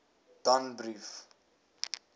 danbrief